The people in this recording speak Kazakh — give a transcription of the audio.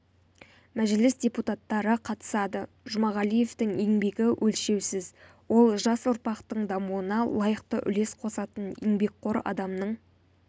мәжіліс депутаттары қатысады жұмағалиевтің еңбегі өлшеусіз ол жас ұрпақтың дамуына лайықты үлес қосатын еңбекқор адамның